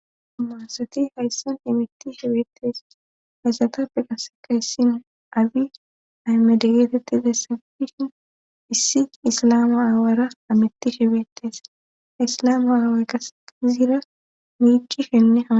Umaasati hayssan imitti shebeetes hayssatappe qaseka hissin abi aymadegeetetti dessafishin issi islamu aawaaras amitti shebeetees islamu aawa kas iziira miici shenne hama